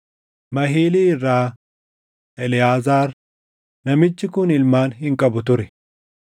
Mahilii irra: Eleʼaazaar; namichi kun ilmaan hin qabu ture.